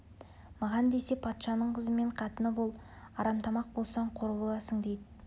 маған десе патшаның қызы мен қатыны бол арамтамақ болсаң қор боласың дейді